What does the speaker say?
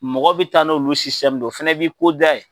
Mɔgɔ bɛ taa n'oolu o fɛnɛ b'i ko da ye.